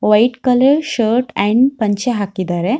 White colour shirt and ಪಂಚೆ ಹಾಕಿದರೆ.